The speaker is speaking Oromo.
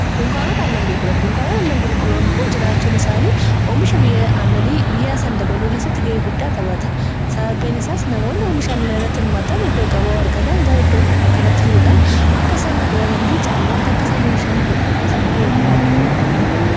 Dunkaanota aannan gurguran dunkaanoot a aannan gurguran kun jiraachuun isaanii oomisha annani biyyaa san dabaluu keessatti ga'ee guddaa tabata sababbeen isaas namoonni oomisha annan irratti hirmaataan iddoo gabaa wargatan gara iddoo kanatti filuudhaan akka isaan gurgurataniifi caalmaatti akka isaan oomishaan godhuu keessatti ga'ee guddaa qaba waan ta'eef.